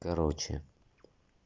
короче